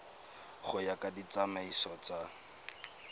go ya ka ditsamaiso tsa